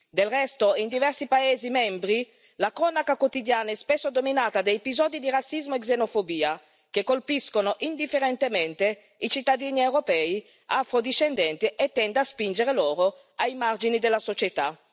Del resto, in diversi paesi membri, la cronaca quotidiana è spesso dominata da episodi di razzismo e di xenofobia, che colpiscono indifferentemente i cittadini europei afro discendenti e tende a spinger loro ai margini della società.